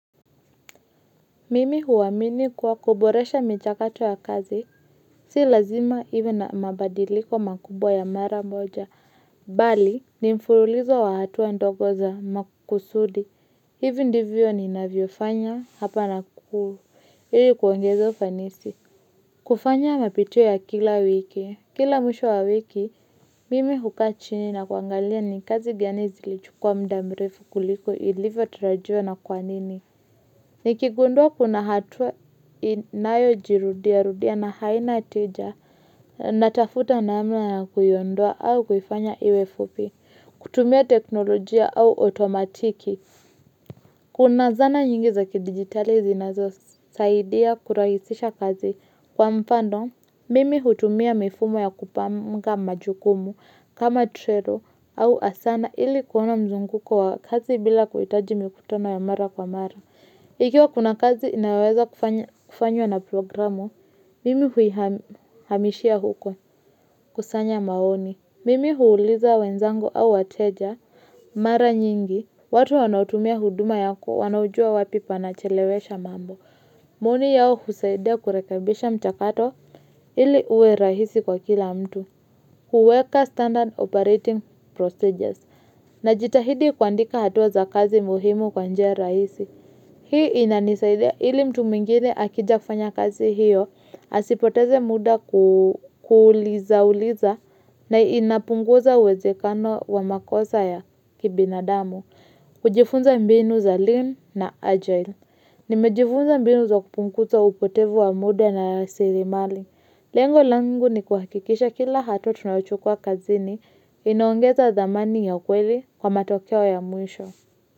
Mimi huamini kuwa kuboresha mchakato ya kazi, si lazima iwe na mabadiliko makubwa ya mara moja, bali ni mfululizo wa hatua ndogo za makusudi, hivi ndivyo ninavyo fanya, hapa na kuu, yeye kuongeza ufanisi. Kufanya mapitio ya kila wiki, kila mwisho wa wiki, mimi hukaa chini na kuangalia ni kazi gani zilichukua muda mrefu kuliko ilivyo tarajiwa na kwa nini. Nikigundua kuna hatua inayojirudia, rudia na haina tija, natafuta namna na kuiondoa au kufanya iwe fupi, kutumia teknolojia au otomatiki. Kuna zana nyingi za kidigitali zinazosaidia kurahisisha kazi kwa mfano, mimi hutumia mifumo ya kupanga majukumu kama trero au asana ili kuona mzunguko wa kazi bila kuhitaji mikutano ya mara kwa mara. Ikiwa kuna kazi inaweza kufanywa na programu, mimi hui hamishia huko kusanya maoni. Mimi huuliza wenzangu au wateja, mara nyingi. Watu wanaotumia huduma yako, wanaojua wapi panachelewesha mambo. Maoni yao husaidia kurekebisha mchakato ili uwe rahisi kwa kila mtu. Kuweka standard operating procedures, na jitahidi kuandika hatuwa za kazi muhimu kwa njia rahisi. Hii inanisaidia ili mtu mwingine akija kufanya kazi hiyo, asipoteze muda kuuliza uliza na inapunguza uwezekano wa makosa ya kibinadamu, kujifunza mbinu za lean na agile. Nimejifunza mbinu za kupunguza upotevu wa muda na sirimali. Lengo langu ni kuhakikisha kila hatua tunaochukua kazini inaongeza zamani ya ukweli kwa matokeo ya mwisho.